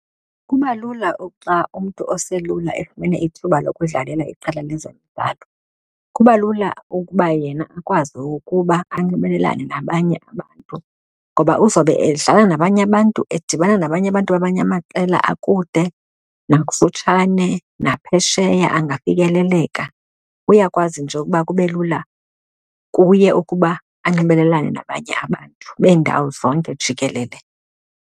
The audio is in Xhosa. Kuba lula xa umntu oselula efumene ithuba lokudlalela iqela lezemidlalo, kuba lula ukuba yena akwazi ukuba anxibelelane nabanye abantu ngoba uzawube idlala nabanye abantu, edibana nabanye abantu bamanye amaqela akude nakufutshane naphesheya angafikeleleka. Uyakwazi nje ukuba kube lula kuye okuba anxibelelane nabanye abantu beendawo zonke jikelele.